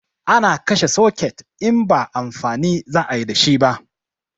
Ana kashe soket in ba amfani za ayi dashi ba